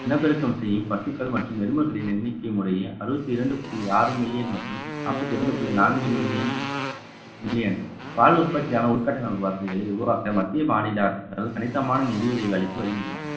இனப்பெருக்கம் செய்யும் பசுக்கள் மற்றும் எலும்புகளின் எண்ணிக்கை முறையே அறுபத்தி இரண்டு புள்ளி ஆறு million மற்றும் நாற்பத்தி இரண்டு புள்ளி நான்கு million million பால் உற்பத்தியான உள்கட்ட நல வசதிகளை உருவாக்க மத்திய மாநில அரசு அதாவது கணிசமான நிதி உதவி அளித்து வருகின்றன